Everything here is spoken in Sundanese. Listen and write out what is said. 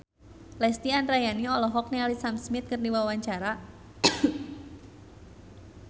Lesti Andryani olohok ningali Sam Smith keur diwawancara